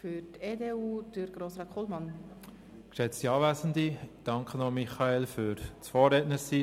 Ich danke Grossrat Michael Köpfli noch dafür, dass er Vorredner war.